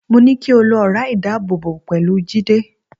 Mo ní kí o lo ọ̀rá ìdábòbò pẹ̀lú Jídé